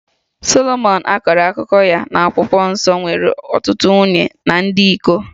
Solomọn a kọrọ akụkọ ya n'akwụkwọ nsọ nwere ọtụtụ nwunye na dị iko